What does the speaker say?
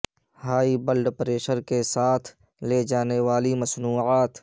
high blood pressure کے ساتھ لے جانے والی مصنوعات